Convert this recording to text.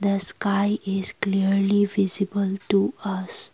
the sky is clearly visible to us.